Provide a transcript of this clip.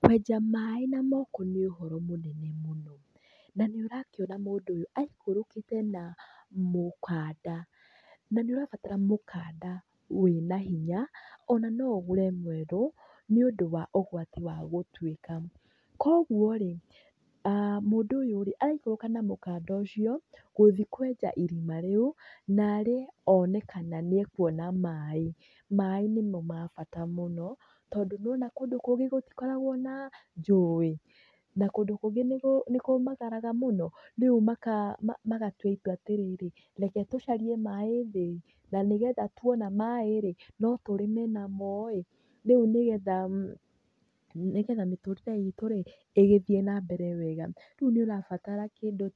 Kwenja maĩ na moko nĩ ũhoro mũnene mũno. Na nĩ ũrakiona mũndũ ũyũ aikũrũkĩte na mũkanda, na nĩ ũrabatara mũkanda wĩna hinya ona no ũgũre mwerũ nĩ ũndũ wa ũgwati wa gũtuĩka. Koguo rĩ, mũndũ ũyũ rĩ, araikũrũka na mũkanda ũyũ gũthiĩ kwenja irima rĩu narĩ one kana nĩ ekuona maĩ. Maĩ nĩmo ma bata mũno tondũ nĩ wona kũndũ kũngĩ gũtikoragwo na njũĩ, na kũndũ kũngĩ nĩ kũmagaraga mũno, rĩu magatua itua atĩrĩrĩ, reke tucarie maĩ thĩ ĩ, na nĩgetha tuona maĩ rĩ no tũrĩme namo ĩ, rĩu nĩgetha mĩtũrĩre itũ rĩ ĩgĩthiĩ na mbere wega. Rĩu nĩ ũrabatara kĩndũ